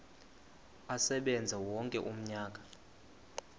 asebenze wonke umnyaka